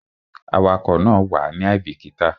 Awakọ̀ náà wàá ní àìbíkítà